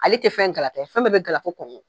Ale tɛ fɛn gala ta ye fɛn bɛɛ bɛ gala fɔ